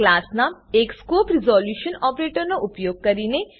class નામ અને scope resolution ઓપરેટરનો ઉપયોગ કરીને